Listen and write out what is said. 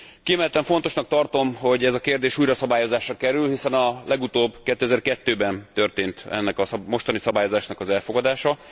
Kiemelten fontosnak tartom, hogy ez a kérdés újra szabályozásra kerül, hiszen a legutóbb 2002 ben történt ennek a mostani szabályozásnak az elfogadása.